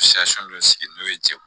dɔ sigi n'o ye cɛw